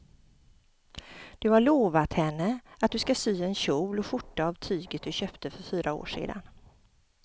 Du har lovat henne att du ska sy en kjol och skjorta av tyget du köpte för fyra år sedan.